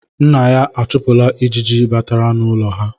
Nna ya achụpụla ejiji batara n’ụlọ ha.